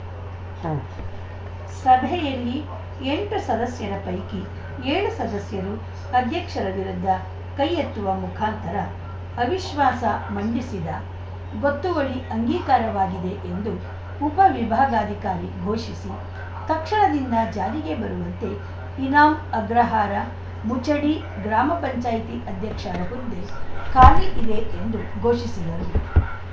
ಉಂ ಸಭೆಯಲ್ಲಿ ಎಂಟು ಸದಸ್ಯರ ಪೈಕಿ ಏಳು ಸದಸ್ಯರು ಅಧ್ಯಕ್ಷರ ವಿರುದ್ಧ ಕೈ ಎತ್ತುವ ಮುಖಾಂತರ ಅವಿಶ್ವಾಸ ಮಂಡಿಸಿದ ಗೊತ್ತುವಳಿ ಅಂಗೀಕಾರವಾಗಿದೆ ಎಂದು ಉಪ ವಿಭಾಗಾಧಿಕಾರಿ ಘೋಷಿಸಿ ತಕ್ಷಣದಿಂದ ಜಾರಿಗೆ ಬರುವಂತೆ ಇನಾಂ ಅಗ್ರಹಾರ ಮುಚಡಿ ಗ್ರಾಮ ಪಂಚಾಯತಿ ಅಧ್ಯಕ್ಷರ ಹುದ್ದೆ ಖಾಲಿ ಇದೆ ಎಂದು ಘೋಷಿಸಿದರು